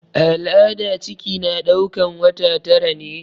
A al'ada ciki na ɗaukan wata tara ne.